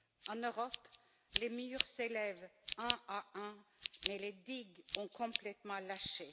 En Europe, les murs s'élèvent un à un, mais les digues ont complètement lâché.